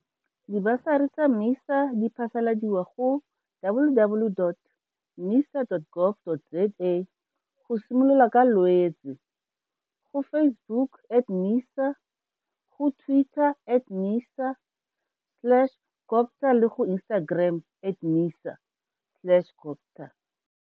Dibasari tsa MISA di phasaladiwa go www.misa.gov.za go simolola ka Lwetse, go Facebook at MISA, go Twitter at MISA slashCoGTA le go Instagram at MISA slash CoGTA.